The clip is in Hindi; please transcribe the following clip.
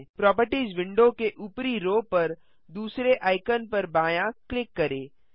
प्रोपर्टिज विंडो के ऊपरी रो पर दूसरे आइकन पर बायाँ क्लिक करें